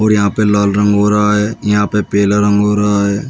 और यहां पे लाल रंग हो रहा है। यहां पे पीला रंग हो रहा है।